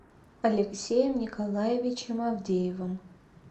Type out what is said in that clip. алексеем николаевичем авдеевым